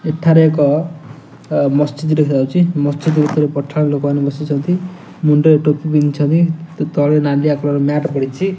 ଏଠାରେ ଏକ ଅ ମସଜିଦ ଦେଖା ଯାଉଛି ମସଜିଦ ଭିତରେ ପଠାଣ ଲୋକମାନେ ବସିଛନ୍ତି ମୁଣ୍ଡରେ ଟୋପି ପିନ୍ଧିଛନ୍ତି ତଳେ ନାଲିଆ ମ୍ୟାଟ ପଡିଚି ।